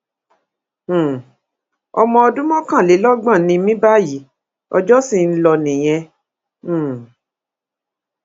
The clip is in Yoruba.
um ọmọ ọdún mọkànlélọgbọn ni mí báyìí ọjọ ṣì ń lọ nìyẹn um